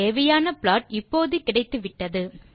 தேவையான ப்ளாட் இப்போது கிடைத்துவிட்டது